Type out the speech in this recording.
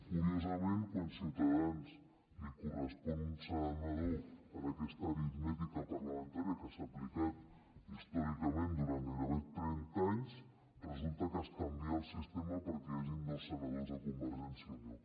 curiosament quan a ciutadans li correspon un senador amb aquesta aritmètica parlamentària que s’ha aplicat històricament durant gairebé trenta anys resulta que es canvia el sistema perquè hi hagin dos senadors de convergència i unió